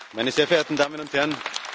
Meine sehr verehrten Damen und Herren!